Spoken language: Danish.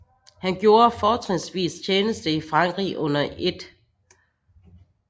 Han gjorde fortrinsvis tjeneste i Frankrig under 1